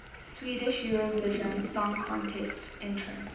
swedish eurovision song contest entrants